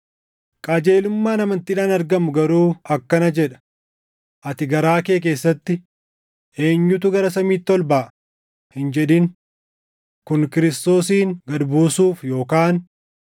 Qajeelummaan amantiidhaan argamu garuu akkana jedha; “Ati garaa kee keessatti, ‘Eenyutu gara samiitti ol baʼa?’ + 10:6 \+xt KeD 30:13\+xt* hin jedhin;” Kun Kiristoosin gad buusuuf;